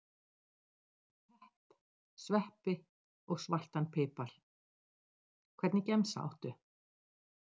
pepp, sveppi og svartan pipar Hvernig gemsa áttu?